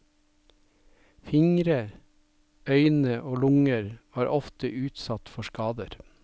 Fingre, øyne og lunger var ofte utsatt for skader.